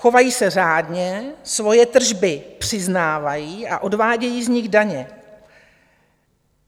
Chovají se řádně, svoje tržby přiznávají a odvádějí z nich daně.